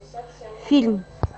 фильм